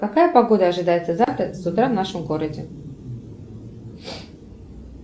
какая погода ожидается завтра с утра в нашем городе